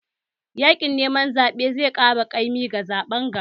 Yaƙin neman zaɓen zai ƙara kaimi ga zaɓen gaba.